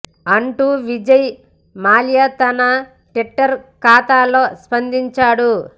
అంటూ విజయ్ మాల్యా తన ట్విట్టర్ ఖాతా లో స్పందించాడు